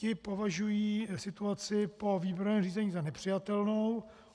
Ti považují situaci po výběrovém řízení za nepřijatelnou.